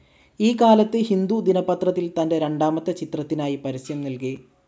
ഈ കാലത്ത് ഹിന്ദു ദിനപത്രത്തിൽ തന്റെ രണ്ടാമത്തെ ചിത്രത്തിനായി പരസ്യം നൽകി.